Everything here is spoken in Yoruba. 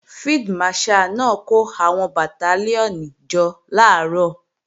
Field Marshal náà kó àwọn Bàtálíọ̀nì jọ làárọ̀